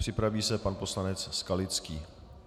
Připraví se pan poslanec Skalický.